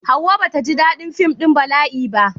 Hauwa ba ta ji daɗin fim ɗin bala'i ba.